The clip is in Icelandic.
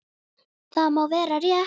Það má vera rétt.